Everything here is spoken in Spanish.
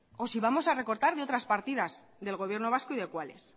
o si vamos a recortar de otras partidas del gobierno vasco y de cuáles